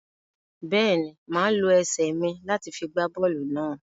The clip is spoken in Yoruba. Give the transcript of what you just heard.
Bẹ́ẹ̀ ni, màá lo ẹsẹ̀ mi láti gbá bọ́ọ́lù náà.